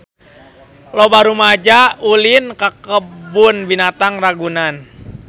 Loba rumaja ulin ka Kebun Binatang Ragunan